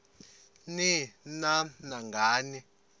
ni nam nangani